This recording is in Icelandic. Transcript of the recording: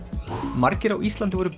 margir á Íslandi voru